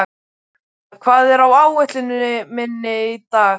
Varmar, hvað er á áætluninni minni í dag?